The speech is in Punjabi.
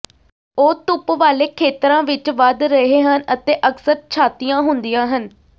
ਉਹ ਧੁੱਪ ਵਾਲੇ ਖੇਤਰਾਂ ਵਿੱਚ ਵਧ ਰਹੇ ਹਨ ਅਤੇ ਅਕਸਰ ਛਾਤੀਆਂ ਹੁੰਦੀਆਂ ਹਨ